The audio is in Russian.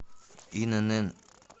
инн